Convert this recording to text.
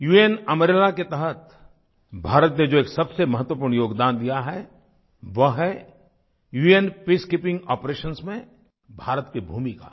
उन अम्ब्रेला के तहत भारत ने जो एक सबसे महत्वपूर्ण योगदान दिया है वह है उन पीसकीपिंग आपरेशंस में भारत की भूमिका